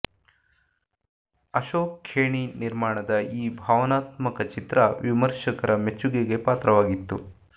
ಅಶೋಕ್ ಖೇಣಿ ನಿರ್ಮಾಣದ ಈ ಭಾವನಾತ್ಮಕ ಚಿತ್ರ ವಿಮರ್ಶಕರ ಮೆಚ್ಚುಗೆಗೆ ಪಾತ್ರವಾಗಿತ್ತು